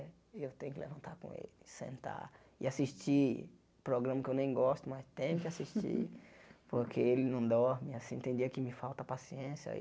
E eu tenho que levantar com ele, sentar e assistir programa que eu nem gosto, mas tem que assistir porque ele não dorme, e assim, tem dia que me falta paciência.